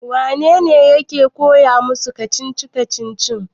wanene yake koya musu kacici-kacicin?